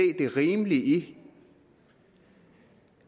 det rimelige i